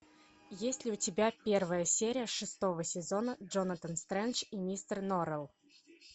есть ли у тебя первая серия шестого сезона джонатан стрендж и мистер норрелл